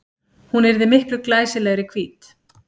Hún yrði miklu glæsilegri hvít.